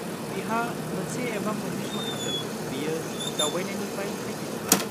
-बिहा मोनसे एबा मोन्नै श' थागोन बियो दावबायनायनिफ्राय फैफिनोब्ला।